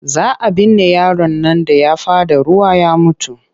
Za a binne yaron nan da ya faɗa ruwa ya mutu.